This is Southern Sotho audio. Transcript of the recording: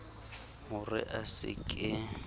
ho re a se ke